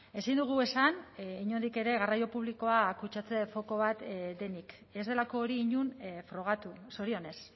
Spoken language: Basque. ezin dugu esan inondik ere garraio publikoa kutsatze foko bat denik ez delako hori inon frogatu zorionez